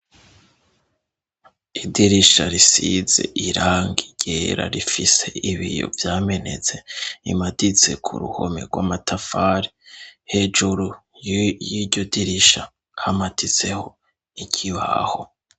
Idirisha risize irangi ryera rifise ibiyo vyamenetse, imaditse ku ruhome rw'amatafari, hejuru y'iryo dirisha hamaditseho ikibaho.